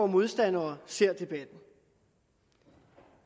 modstandere ser debatten